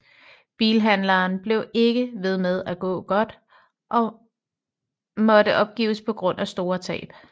Bilhandelen blev ikke ved med at gå godt og måtte opgives på grund af store tab